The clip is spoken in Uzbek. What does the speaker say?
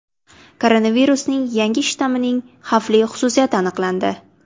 Koronavirusning yangi shtammining xavfli xususiyati aniqlandi.